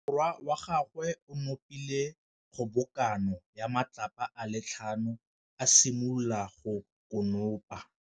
Morwa wa gagwe o nopile kgobokanô ya matlapa a le tlhano, a simolola go konopa.